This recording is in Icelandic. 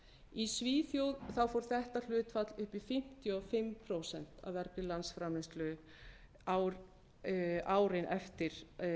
í svíþjóð fór þetta hlutfall upp í fimmtíu og fimm prósent af vergri landsframleiðslu árin eftir